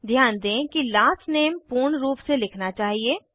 ध्यान दें कि लास्ट नेम पूर्ण रूप में लिखना चाहिए